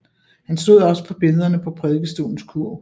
Han stod også for billedener på prædikestolens kurv